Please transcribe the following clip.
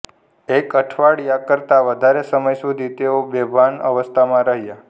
એક અઠવાડિયા કરતાં વધારે સમય સુધી તેઓ બેભાન અવસ્થામાં રહ્યા